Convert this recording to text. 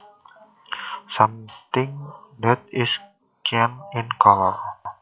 Something that is cyan in color